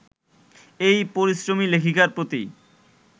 এই পরিশ্রমী লেখিকার প্রতি